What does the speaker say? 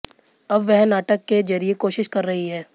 अब वह नाटक के जरिए कोशिश कर रही हैं